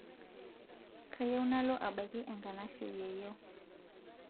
kayieu nalo abaiki enkanashe yieyio